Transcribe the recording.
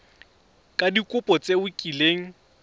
ka dikopo tse o kileng